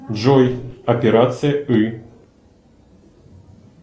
джой операция ы